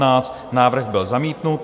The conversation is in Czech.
Návrh byl zamítnut.